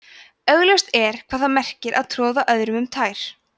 augljóst er hvað það merkir að troða öðrum um tær